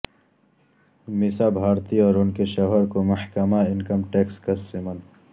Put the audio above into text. میسا بھارتی اور ان کے شوہر کو محکمہ انکم ٹیکس کا سمن